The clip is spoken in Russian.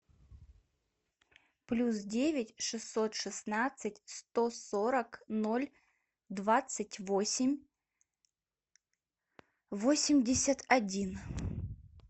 плюс девять шестьсот шестнадцать сто сорок ноль двадцать восемь восемьдесят один